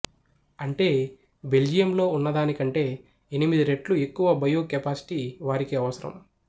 అంటే బెల్జియంలో ఉన్నదానికంటే ఎనిమిది రెట్లు ఎక్కువ బయో కెపాసిటీ వారికి అవసరం